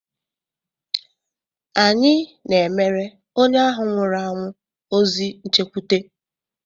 Anyị na-emere onye ahụ nwụrụ anwụ ozi nchekwute.